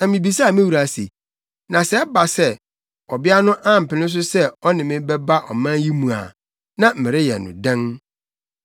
“Na mibisaa me wura se, ‘Na sɛ ɛba sɛ, ɔbea no ampene so sɛ ɔne me bɛba ɔman yi mu a, na mereyɛ no dɛn?’